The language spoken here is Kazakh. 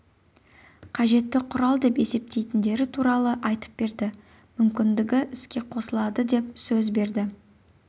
қажетті құрал деп есептейтіндері туралы айтып берді мүмкіндігі іске қосылады деп сөз берді